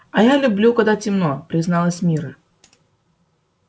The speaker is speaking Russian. а я люблю когда темно призналась мирра